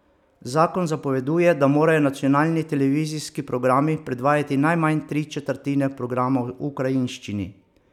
Zakon zapoveduje, da morajo nacionalni televizijski programi predvajati najmanj tri četrtine programa v ukrajinščini.